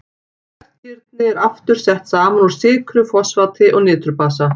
Hvert kirni er aftur sett saman úr sykru, fosfati og niturbasa.